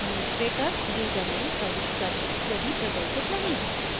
administrator username प्रविष्ट करें यदि प्रदर्शित नहीं है